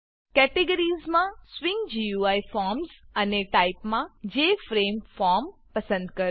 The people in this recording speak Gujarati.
કેટેગરીઝમાં સ્વિંગ ગુઈ ફોર્મ્સ અને ટાઈપમાં જેએફઆરએમફોર્મ પસંદ કરો